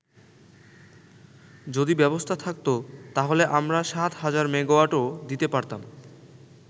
যদি ব্যবস্থা থাকতো, তাহলে আমরা ৭০০০ মেগাওয়াটও দিতে পারতাম।